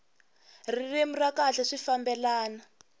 ririmi ra kahle swi fambelana